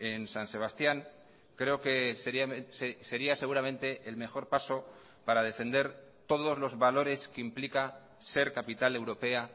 en san sebastián creo que sería seguramente el mejor paso para defender todos los valores que implica ser capital europea